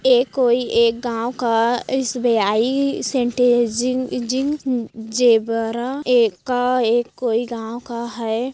ये कोई एक गांव का एस_बी_आई सेंटेजिंग जेब्रा एका - एक कोई गांव का है।